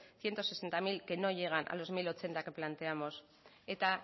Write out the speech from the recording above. ciento sesenta mil que no llegan a los mil ochenta que planteamos eta